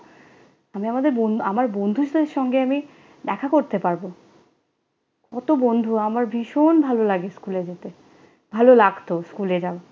আমি আমাদের বন আমার বন্ধুদের সাথে আমি দেখা করতে পারব। কত বন্ধু! আমার ভীষণ ভালো লাগে স্কুলে যেতে। ভালো লাগতো স্কুলে যাওয়া।